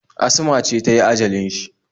Asma ce ta yi ajalin shi